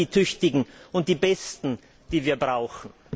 Sind das die Tüchtigen und die Besten, die wir brauchen?